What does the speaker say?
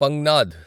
పంజ్ఞాద్